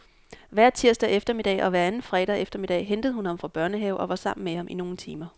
Hver tirsdag eftermiddag og hver anden fredag eftermiddag hentede hun ham fra børnehave og var sammen med ham i nogle timer.